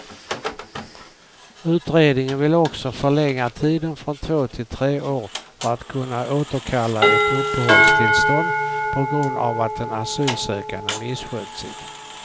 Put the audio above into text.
Utredningen vill också förlänga tiden från två till tre år för att kunna återkalla ett uppehållstillstånd på grund av att den asylsökande misskött sig.